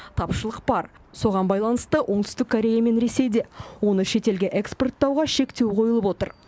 тапшылық бар соған байланысты оңтүстік корея мен ресейде оны шетелге экспорттауға шектеу қойылып отыр